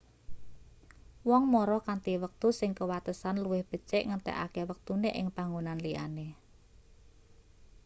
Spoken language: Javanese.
wong mara kanthi wektu sing kewatesan luwih becik ngentekake wektune ing panggonan liyane